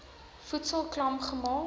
voedsel klam gemaak